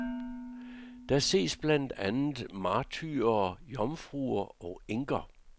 Der ses blandt andet martyrer, jomfruer og enker.